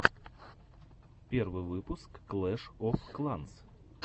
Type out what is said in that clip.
первый выпуск клэш оф кланс